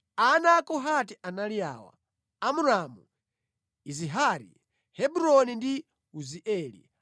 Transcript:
Ana a Kohati anali awa: Amramu, Izihari, Hebroni ndi Uzieli.